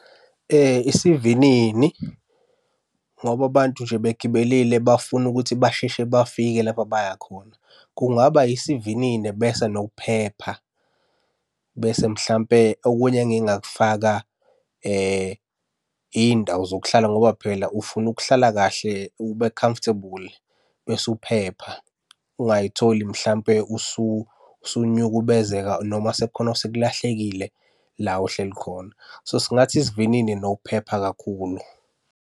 Isivinini, ngoba abantu nje begibelile bafuna ukuthi basheshe bafike lapha abaya khona. Kungaba isivinini bese nokuphepha. Bese mhlampe okunye engingakufaka iy'ndawo zokuhlala ngoba phela ufuna ukuhlala kahle ube comfortable, bese uphepha. Ungay'tholi mhlampe usunyukubezeka noma sekukhona osekulahlekile la ohleli khona. So, singathi isivinini nokuphepha kakhulu.